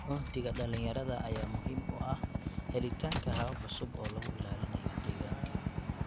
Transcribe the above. Uhdhigga dhalinyarada ayaa muhiim u ah helitaanka habab cusub oo lagu ilaalinayo deegaanka.